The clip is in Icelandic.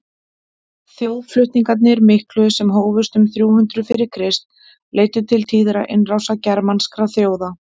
þjóðflutningarnir miklu sem hófust um þrjú hundruð fyrir krist leiddu til tíðra innrása germanskra þjóða